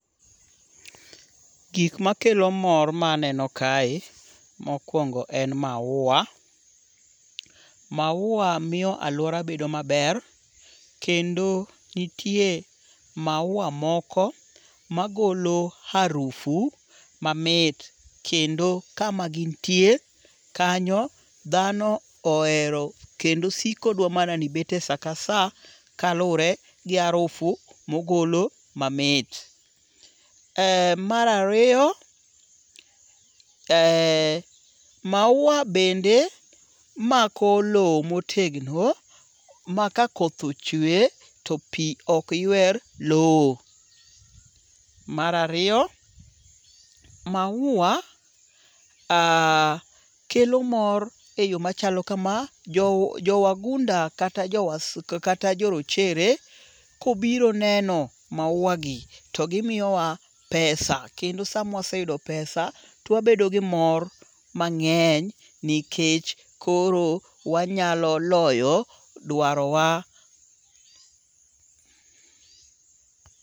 Gik makelo mor ma aneno kae, mokwongo en maua. Maua miyo aluora bedo maber. Kendo nitie maua moko magolo harufu mamit kendo kama gintie kanyo dhano ohero kendo osiko dwa mana ni ibete saka sa kalure gi harufu mogolo mamit. Mar ariyo, maua bende mako lowo motegno maka koth ochwe to pi ok ywer lowo. Mar ariyo, maua kelo mor e yo machalo kama. Jo wagunda kata jo rochere kobiro neno maua gi to gimiyowa pesa. Kendo sama waseyudo pesa to webedo gi mor mang'eny nikech koro wanyalo loyo dwaro wa.